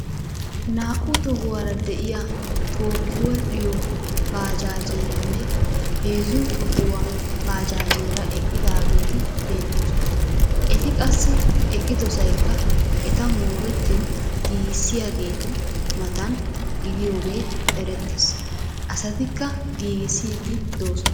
Naa'u tohuwara de'iya tookki wodhdhiya baajaajeeranne heezzu tohuwa baajaajeera eqqidaageeti beettoosona. Eti qassi eqqidosaykka etta moorettin giigissiyageetu mataana gidiyogee erettees. Asatikka giigissiiddi doosona.